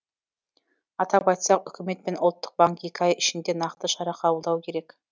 атап айтсақ үкімет пен ұлттық банк екі ай ішінде нақты шара қабылдауы керек